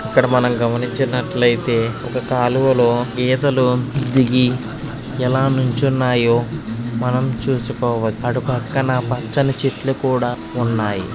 ఇక్కడ మనం గమనించినట్లయితే ఒక కాలవలో గేదలు దిగి ఎలా నిల్చున్నాయో మనం చూసుకోవచ్చు అటు పక్కన పచ్చని చెట్లు కూడా ఉన్నాయి.